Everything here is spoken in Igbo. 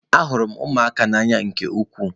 Ahụrụ m ụmụaka n'anya nke ukwuu.